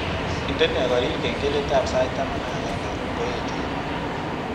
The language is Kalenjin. Indene korir kengeletab sait taman ak agenge ngoeche